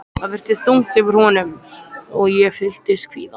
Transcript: Það virtist þungt yfir honum og ég fylltist kvíða.